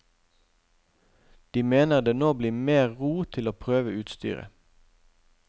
De mener det nå blir mer ro til å prøve utstyret.